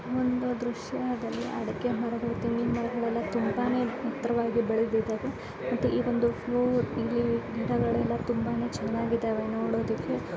ಈ ಒಂದು ದೃಶ್ಯದಲ್ಲಿ ಅದಕೆ ಮರಗಳು ತೆಂಗಿನ ಮರಗಳೆಲ್ಲ ತುಂಬಾನೆ ಎತ್ತರವಾಗಿ ಬೆಳೆದಿದ್ದಾವೆ ಮತ್ತೆ ಈ ಒಂದು ಫ್ಲೂ ಇಲ್ಲಿ ಗಿಡಗಳೆಲ್ಲಾ ತುಂಬಾನೆ ಚೆನ್ನಾಗಿದಾವೆ ನೋಡದಿಕ್ಕೆ.